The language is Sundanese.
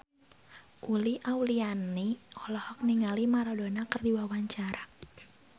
Uli Auliani olohok ningali Maradona keur diwawancara